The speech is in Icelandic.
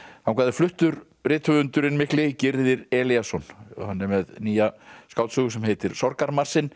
þangað er fluttur rithöfundurinn mikli Gyrðir Elíasson hann er með nýja skáldsögu sem heitir